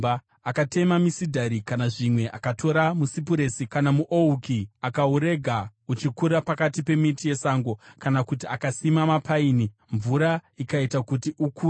Akatema misidhari, kana zvimwe akatora musipuresi kana muouki. Akaurega uchikura pakati pemiti yesango, kana kuti akasima mupaini, mvura ikaita kuti ukure.